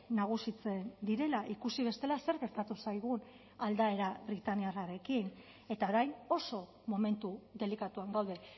nagusitzen direla ikusi bestela zer gertatu zaigun aldaera britaniarrarekin eta orain oso momentu delikatuan gaude